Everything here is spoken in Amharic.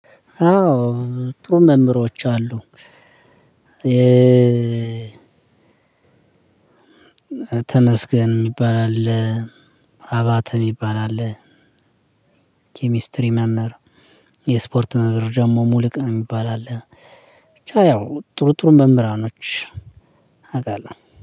አዎ ጥሩ መምህሮች አሉ። ተመስገን የሚባል አለ። አባተ የሚባል አለ። ኬሚስትሪ መምህር የስፖርት መምህር ደግሞ ሙሉቀን የሚባል አለ። ብቻ ያው ጥሩ ጥሩ መምህራኖች አውቃለሁ